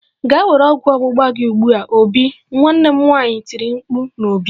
Gaa were ọgwụ ọgbụgba gị ugbu a obi! Nwanne m nwanyi tiri mkpu n'obi